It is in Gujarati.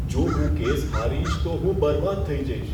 જો હું કેસ હારીશ, તો હું બરબાદ થઈ જઈશ.